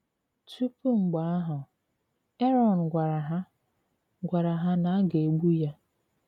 Tupu mgbe ahụ, Aron gwara ha gwara ha na a ga-egbu ya.